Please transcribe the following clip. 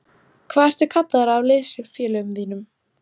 Hvað ertu kallaður af liðsfélögum þínum?